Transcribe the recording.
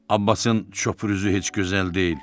Abbasın çöpür üzü heç gözəl deyil.